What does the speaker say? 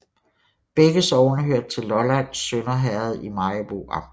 Begge sogne hørte til Lollands Sønder Herred i Maribo Amt